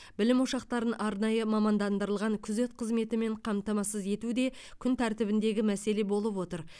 білім ошақтарын арнайы мамандандырылған күзет қызметімен қамтамасыз ету де күн тәртібіндегі мәселе болып отыр